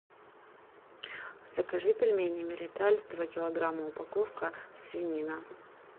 закажи пельмени мириталь два килограмма упаковка свинина